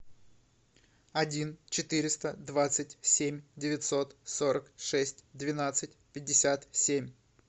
один четыреста двадцать семь девятьсот сорок шесть двенадцать пятьдесят семь